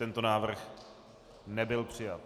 Tento návrh nebyl přijat.